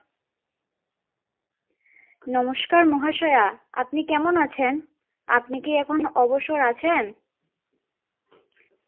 নমস্কার মহাশয়া আপনি কেমন আছেন? আপনি কি এখন অবসর আছেন